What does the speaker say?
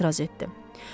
Həkim etiraz etdi.